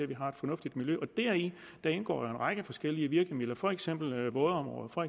vi har et fornuftigt miljø deri indgår en række virkemidler for eksempel vådområder og